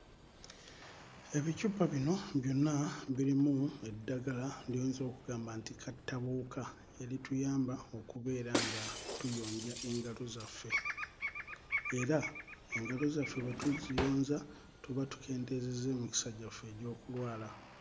Ebicupa bino byonna birimu eddagala ly'oyinza okugamba nti kattabuwuka erituyamba okubeera nga tuyonja engalo zaffe era engalo zaffe bwe tuziyonza tubeera tukendeezezza emikisa gyaffe egy'okulwala.